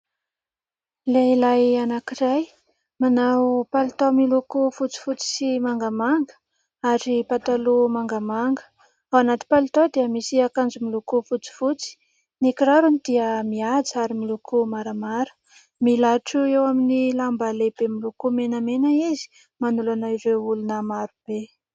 Lehilahy anankiray : manao palitao miloko fotsifotsy sy mangamanga ary pataloha mangamanga, ao anaty palitao dia misy akanjo miloko fotsifotsy, ny kirarony dia mihaja ary miloko maramara . Milatro eo amin'ny lamba lehibe miloko menamena izy, manolana ireo olona maro be.